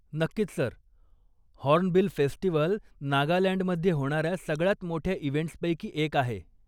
नक्कीच sir! Hornbill festival नागालँडमध्ये होणाऱ्या सगळ्यात मोठ्या इव्हेंट्सपैकी एक आहे.